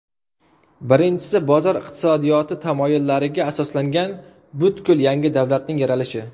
Birinchisi bozor iqtisodiyoti tamoyillariga asoslangan butkul yangi davlatning yaralishi.